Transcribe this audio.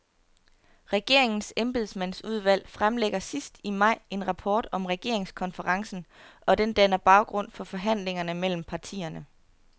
Regeringens embedsmandsudvalg fremlægger sidst i maj en rapport om regeringskonferencen, og den danner baggrund for forhandlingerne mellem partierne.